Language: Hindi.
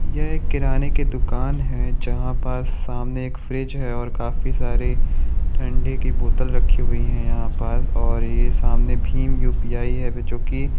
यह एक किराने की दूकान है जहाँ पर सामने एक फ्रिज है और काफी सारे ठंडे की बोतल रखे हुए है यहाँ पर और ये सामने भीम यु_पी_आई है जोकि --